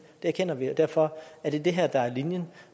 det erkender vi og derfor er det her linjen